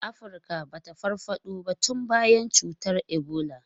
Afirka ba ta farfado ba tun bayan cutar Ebola.